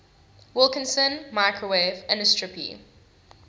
wilkinson microwave anisotropy